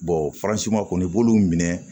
kɔni i b'olu minɛ